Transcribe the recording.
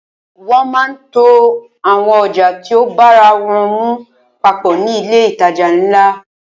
Wọ́n máa ń to àwọn ọjà tí o bára wọ́n mu papọ̀ ní ilé ìtajà ńlá.